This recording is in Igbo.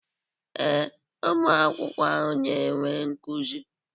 Ee, ụmụ akwụkwọ ahụ na-enwe nkuzi.